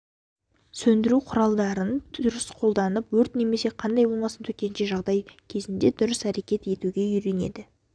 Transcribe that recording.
сөндіру құралдарын дұрыс қолданып өрт немесе қандай болмасын төтенше жағдай кезінде дұрыс әрекет етуге үйренеді